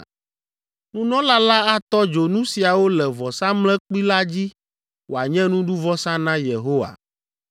Nunɔla la atɔ dzo nu siawo le vɔsamlekpui la dzi wòanye nuɖuvɔsa na Yehowa.